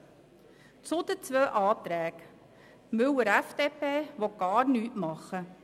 Jetzt zu den beiden Planungserklärung: Die Planungserklärung Müller/FDP will gar nichts tun.